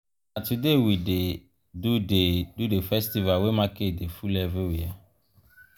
na today we dey do the do the festival wey market dey full everywhere.